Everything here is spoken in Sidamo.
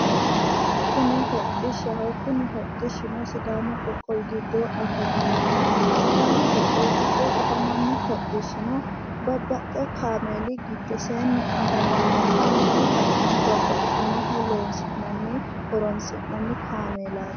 Kuni hodhishshaho kuni hodhishshuno sidaamu qoqqowi giddo afamannoho sidaamu qoqqowi giddo afamanno hodhishshino babbaxxewo kaameeli giddoseenni afamanno kaameelu danino babbaxxinoho loosi'nanni horonsi'nanni kaameelaati.